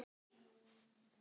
Hvað sem hver segir.